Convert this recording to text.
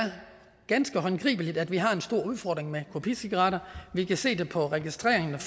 ganske håndgribeligt at vi har en stor udfordring med kopicigaretter vi kan se det på registreringerne